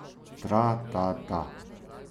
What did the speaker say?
Tra ta ta.